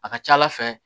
A ka ca ala fɛ